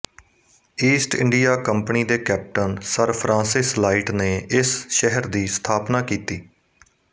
East India Company ਦੇ captain Sir Francis Light ਨੇ ਇਸ ਸ਼ਹਿਰ ਦੀ ਸਥਾਪਨਾ ਕੀਤੀ